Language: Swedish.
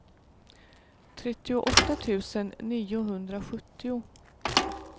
trettioåtta tusen niohundrasjuttio